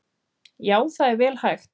Já það er vel hægt.